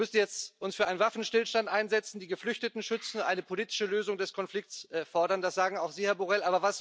Wir müssen uns jetzt für einen Waffenstillstand einsetzen, die Geflüchteten schützen, eine politische Lösung des Konflikts fordern, das sagen auch Sie, Herr Borrell.